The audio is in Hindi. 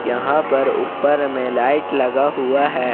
यहां पर ऊपर में लाइट लगा हुआ है।